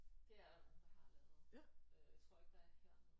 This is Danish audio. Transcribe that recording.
Det er der nogen der har lavet øh jeg tror ikke der er hernede